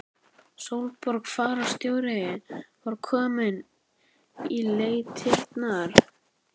Sólborg fararstjóri var komin í leitirnar.